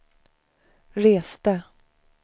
reste